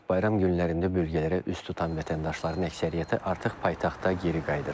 Bayram günlərində bölgələrə üz tutan vətəndaşların əksəriyyəti artıq paytaxta geri qayıdır.